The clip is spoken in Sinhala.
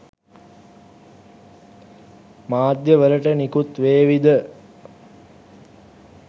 මාධ්‍යය වලට නිකුත් වේවිද?